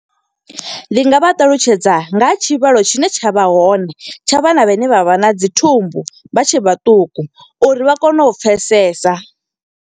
Ndi nga vha ṱalutshedza, nga ha tshivhalo tshine tsha vha hone. Tsha vhana vha ne vha vha na dzi thumbu vha tshe vhaṱuku, uri vha kone u pfesesa.